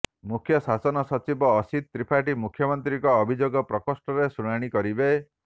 ମୁଖ୍ୟ ଶାସନ ସଚିବ ଅସିତ ତ୍ରିପାଠୀ ମୁଖ୍ୟମନ୍ତ୍ରୀଙ୍କ ଅଭିଯୋଗ ପ୍ରକୋଷ୍ଠରେ ଶୁଣାଣି କରିବେ